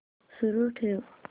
सुरू ठेव